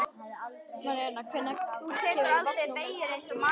Marinella, hvenær kemur vagn númer tuttugu og sex?